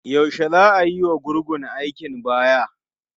Yaushe za a yiwa gurgun aikin baya?